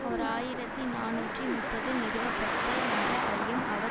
ஓர் ஆயிரத்தி நாநூற்றி முப்பதில் நிறுவப்பட்ட என்ற ஐயும் அவர்